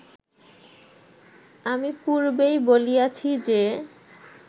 আমি পূর্বেই বলিয়াছি যে